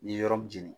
Ni ye yɔrɔ min jeni